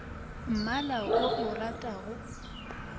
mmala wo o o ratago